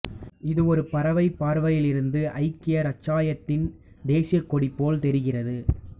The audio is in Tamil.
இது ஒரு பறவைப் பார்வையிலிருந்து ஐக்கிய இராச்சியத்தின் தேசியக் கொடி போல் தெரிகிறது